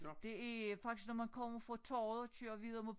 Det er faktisk når man kommer fra torvet og kører videre mod